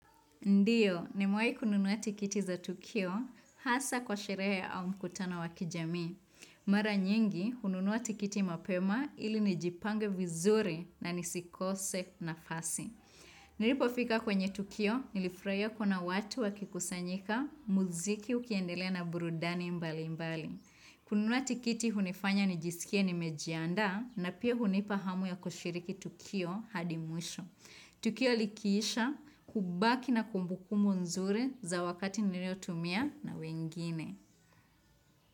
Ndiyo, nimewahi kununua tikiti za Tukio, hasa kwa sherehe au mkutano wa kijamii. Mara nyingi, hununua tikiti mapema ili nijipange vizuri na nisikose nafasi. Nilipofika kwenye Tukio, nilifurahia kuna watu wakikusanyika, muziki ukiendelea na burudani mbalimbali. Kununua tikiti hunifanya nijisikie ni mejiandaa, na pia hunipa hamu ya kushiriki Tukio hadi mwisho. Tukio likiisha kubaki na kumbukumbu nzuri za wakati niliotumia na wengine.